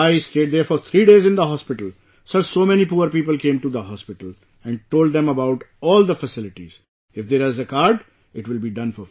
I stayed there for three days in the hospital, Sir, so many poor people came to the hospital and told them about all the facilities ; if there is a card, it will be done for free